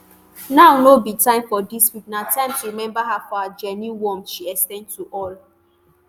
now no be time for disputes; na time to remember her for di genuine warmth she ex ten d to all.